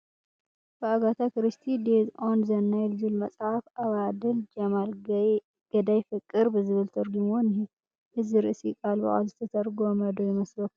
ብኣጋታ ክሪስቲ "DEATH ON THE NILE" ዝብል መፅሓፍ ኣባድር ጀማል ገዳይ ፍቅር ብዝብል ተርጒምዎ እኒሀ፡፡ እዚ ርእሲ ቃል ብቓል ዝተተርጎመ ዶ ይመስለኩም?